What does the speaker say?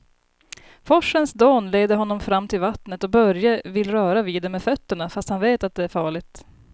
Forsens dån leder honom fram till vattnet och Börje vill röra vid det med fötterna, fast han vet att det är farligt.